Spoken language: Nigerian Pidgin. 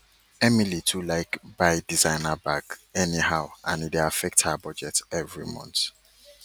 emily too like buy designer bag anyhow and e dey affect her budget every month